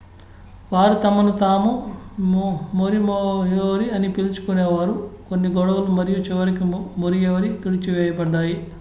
వారు తమను తాము మొరియోరి అని పిలుచుకునే వారు కొన్ని గొడవలు మరియు చివరికి మొరియోరి తుడిచివేయబడ్డాయి